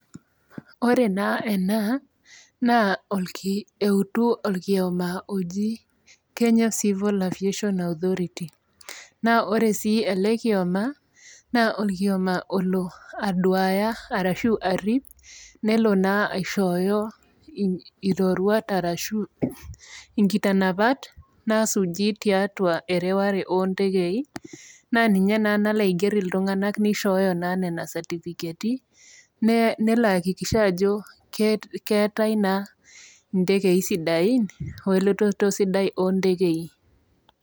Ore naa ena naa eutu olkioma oji Kenya civil aviation authority. Naa ore sii ele kioma, naa olkioma olo aduaya arashu arip, nelo naa aishooyo iroruat arashu inkitanapa naasuji tiatua ereware oo ntekei, naa ninye naa nalo aiger iltung'ana neishooyo Nena satifiketi nelo aihakikisha ajo keatai naa intekei sidain we elototo sidai oo ntekei.